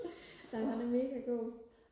nej han er mega god